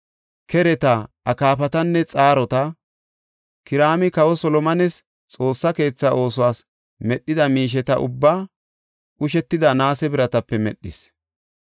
Kereta, akaafatanne xaarota. Kiraami kawa Solomones Xoossa keetha oosuwas medhida miisheta ubbaa qushetida naase biratape medhis.